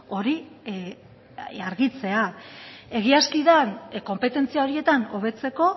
hori argitzea egiazki da konpetentzia horietan hobetzeko